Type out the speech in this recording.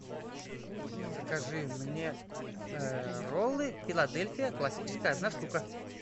закажи мне роллы филадельфия классическая одна штука